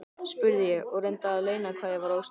spurði ég og reyndi að leyna hvað ég var óstyrk.